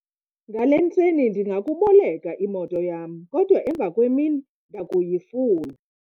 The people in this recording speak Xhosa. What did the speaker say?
ngale ntseni ndingakuboleka imoto yam, kodwa emvakwemini ndakuyifuna